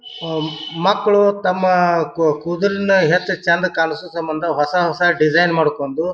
ಆ ಮಕ್ಳು ತಮ್ಮಾ ಕ ಕೂದಲನ್ ಹೆಶ್ಟ್ ಚಂದ್ ಕಾಣಿಸೋ ಸಮಂದ ಹೊಸ ಹೊಸ ಡಿಸೈನ್ ಮಾಡಕೊಂದು --